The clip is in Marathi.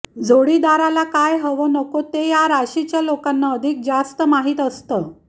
जोडीदाराला काय हवं नको ते या राशीच्या लोकांना अधिक जास्त माहीत असतं